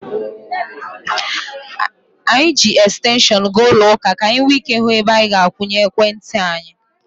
Anyị ji ekstenshọnụ gaa ụlọ ụka ka anyị nwee ike ịhụ ebe anyị ga-akwụnye ekwentị anyị.